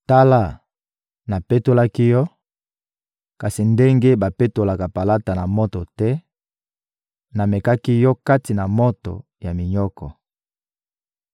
Tala, napetolaki yo, kasi ndenge bapetolaka palata na moto te; namekaki yo kati na moto ya minyoko.